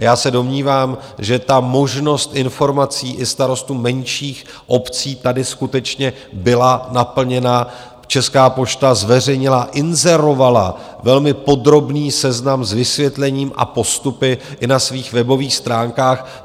A já se domnívám, že ta možnost informování i starostů menších obcí tady skutečně byla naplněna, Česká pošta zveřejnila, inzerovala velmi podrobný seznam s vysvětlením a postupy i na svých webových stránkách.